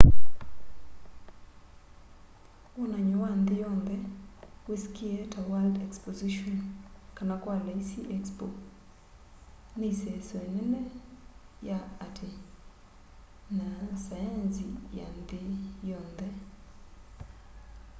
wonany'o wa nthi yonthe wisikie ta world exposition kana kwa laisi expo ni iseso inene ya ati na saenzi ya nthi yonthe